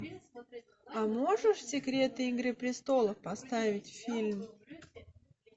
а можешь секреты игры престолов поставить фильм